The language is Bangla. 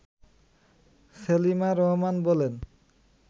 সেলিমা রহমান বলেন